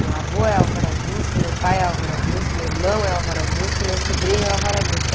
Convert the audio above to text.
Meu avô é Álvaro Augusto, meu pai é Álvaro Augusto, meu irmão é Álvaro Augusto e meu sobrinho é Álvaro Augusto.